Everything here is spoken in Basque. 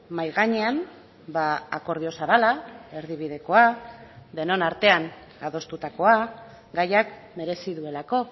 mahai gainean akordio zabala erdibidekoa denon artean adostutakoa gaiak merezi duelako